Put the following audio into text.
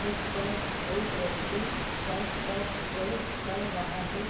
उसपर एक व्यक्ति शर्ट पर प्रेस कर रहा है।